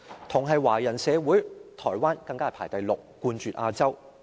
同是華人社會，台灣更排行第六，冠絕亞洲。